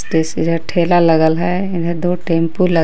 ठेला लगल है। इधर दो टेंपो लग --